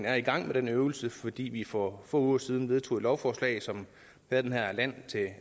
er i gang med den øvelse fordi vi for få uger siden vedtog et lovforslag som havde den her land til